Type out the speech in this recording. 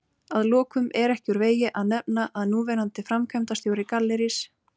Að lokum er ekki úr vegi að nefna að núverandi framkvæmdastjóri Gallerís